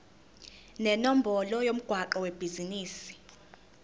nenombolo yomgwaqo webhizinisi